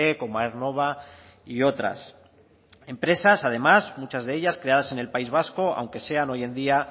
como aernova y otras empresas además muchas de ellas creadas en el país vasco aunque sean hoy en día